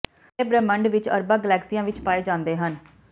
ਤਾਰੇ ਬ੍ਰਹਿਮੰਡ ਵਿੱਚ ਅਰਬਾਂ ਗਲੈਕਸੀਆਂ ਵਿੱਚ ਪਾਏ ਜਾਂਦੇ ਹਨ